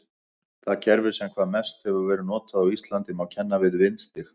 Það kerfi sem hvað mest hefur verið notað á Íslandi má kenna við vindstig.